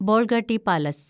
Bolgatty palace